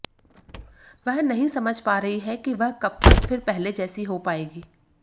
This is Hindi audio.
वह नहीं समझ पा रही हैं कि वह कब तक फिर पहले जैसी हो पाएंगी